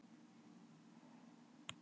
Hann klappar drekanum og hlær.